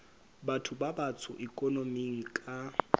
batho ba batsho ikonoming ka